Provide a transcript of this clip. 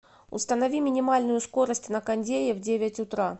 установи минимальную скорость на кондее в девять утра